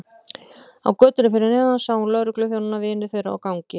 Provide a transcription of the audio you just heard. Á götunni fyrir neðan sá hún lögregluþjónana vini þeirra á gangi.